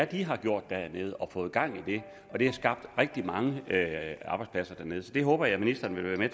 de har gjort dernede og fået gang i og det har skabt rigtig mange arbejdspladser dernede så det håber jeg ministeren vil være